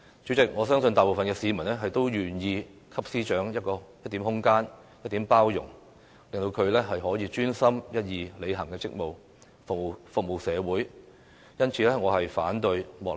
主席，我相信大部分市民，都願意給司長一點空間、一點包容，令她可以專心一意履行職務，服務社會。